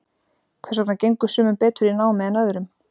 hvers vegna gengur sumum betur í námi en öðrum